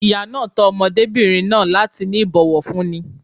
Ìyá náà tọ́ ọmọdébìnrin náà láti ní ìbòwọ̀fúní.